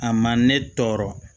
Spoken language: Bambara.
A ma ne tɔɔrɔ